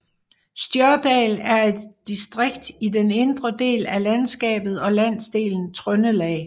Stjørdal er et distrikt i den indre del af landskapet og landsdelen Trøndelag